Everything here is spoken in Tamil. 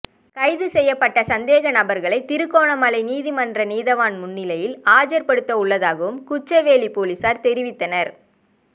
கைது செய்யப்பட்ட சந்தேக நபர்களை திருகோணமலை நீதிமன்ற நீதவான் முன்னிலையில் ஆஜர்படுத்த உள்ளதாகவும் குச்சவெளி பொலிசார் தெரிவித்தனர்